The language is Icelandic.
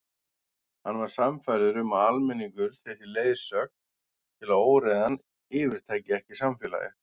Hann var sannfærður um að almenningur þyrfti leiðsögn til að óreiðan yfirtæki ekki samfélagið.